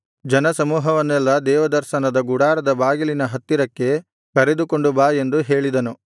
ಜನಸಮೂಹವನ್ನೆಲ್ಲಾ ದೇವದರ್ಶನದ ಗುಡಾರದ ಬಾಗಿಲಿನ ಹತ್ತಿರಕ್ಕೆ ಕರೆದುಕೊಂಡು ಬಾ ಎಂದು ಹೇಳಿದನು